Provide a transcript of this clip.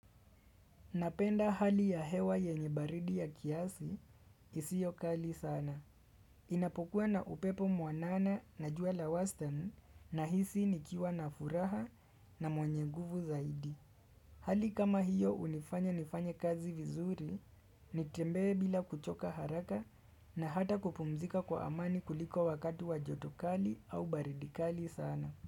Napenda hali ya hewa yenye baridi ya kiasi, isio kali sana. Inapokuwa na upepo mwanana na jua la western na hisi nikiwa na furaha na mwenye nguvu zaidi. Hali kama hiyo hunifanya nifanye kazi vizuri, nitembee bila kuchoka haraka na hata kupumzika kwa amani kuliko wakati wa joto kali au baridi kali sana.